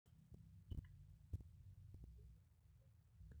kaata duo sherehe einoto aai, kaji kiidim aataasie tena hoteli